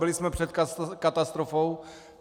Byli jsme před katastrofou.